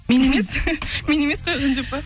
мен емес мен емес қойған деп па